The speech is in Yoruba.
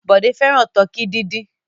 Bọ̀dé fẹ́ràn tọkí dídín.